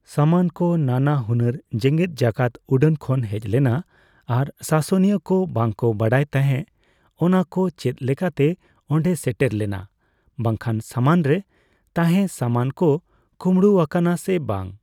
ᱥᱟᱢᱟᱱ ᱠᱚ ᱱᱟᱱᱟ ᱦᱩᱱᱟᱹᱨ ᱡᱮᱜᱮᱫ ᱡᱟᱠᱟᱛ ᱩᱰᱟᱹᱱ ᱠᱷᱚᱱ ᱦᱮᱡᱞᱮᱱᱟ ᱟᱨ ᱥᱟᱥᱚᱱᱤᱭᱟᱹ ᱠᱚ ᱵᱟᱝ ᱠᱚ ᱵᱟᱰᱟᱭ ᱛᱟᱦᱮᱸ, ᱚᱱᱟ ᱠᱚ ᱪᱮᱫ ᱞᱮᱠᱟᱛᱮ ᱚᱸᱰᱮ ᱥᱮᱴᱮᱨ ᱞᱮᱱᱟ ᱵᱟᱝᱠᱷᱟᱱ ᱥᱟᱢᱟᱱ ᱨᱮ ᱛᱟᱦᱮᱸ ᱥᱟᱢᱟᱱ ᱠᱚ ᱠᱳᱢᱲᱳ ᱟᱠᱟᱱᱟ ᱥᱮ ᱵᱟᱝ ᱾